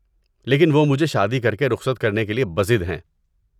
لیکن وہ مجھے شادی کر کے رخصت کرنے کے لیے بضد ہیں۔